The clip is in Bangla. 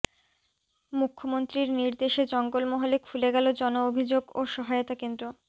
মুখ্যমন্ত্রীর নির্দেশে জঙ্গলমহলে খুলে গেল জনঅভিযোগ ও সহায়তা কেন্দ্র